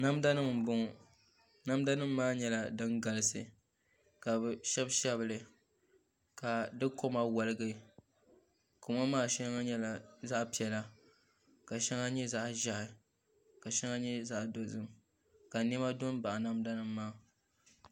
Namda nim n bɔŋɔ namda nim maa nyɛla din galisi ka bi shɛbi shɛbili ka di koma woligi koma maa shɛŋa nyɛla zaɣ piɛla ka shɛŋa nyɛ zaɣ ʒiɛhi ka shɛŋa nyɛ zaɣ dozim ka niɛma do n baɣa namda nim maa